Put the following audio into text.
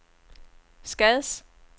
Skads